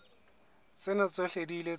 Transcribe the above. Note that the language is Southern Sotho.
tsena tsohle di ile tsa